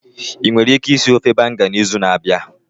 Ị nwere ike ịsị ofe Banga n'izu na-abịa?